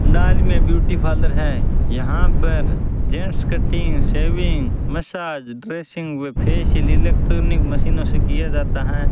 डाल में beauty parlour है यहां पर gents cutting shaving massage dressing व फेशियल इलेक्ट्रानिक मशीनों से किया जाता है।